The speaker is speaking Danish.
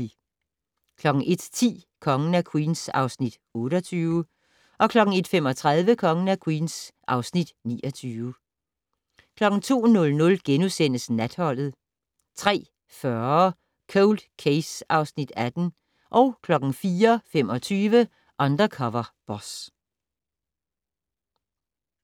01:10: Kongen af Queens (Afs. 28) 01:35: Kongen af Queens (Afs. 29) 02:00: Natholdet * 03:40: Cold Case (Afs. 18) 04:25: Undercover Boss